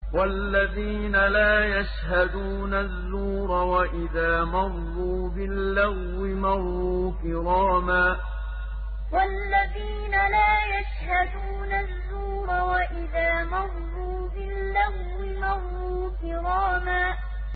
وَالَّذِينَ لَا يَشْهَدُونَ الزُّورَ وَإِذَا مَرُّوا بِاللَّغْوِ مَرُّوا كِرَامًا وَالَّذِينَ لَا يَشْهَدُونَ الزُّورَ وَإِذَا مَرُّوا بِاللَّغْوِ مَرُّوا كِرَامًا